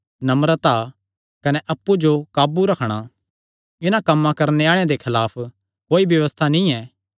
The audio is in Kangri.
नम्रता कने अप्पु जो काबू रखणा इन्हां कम्मां करणे आल़ेआं दे खलाफ कोई व्यबस्था नीं ऐ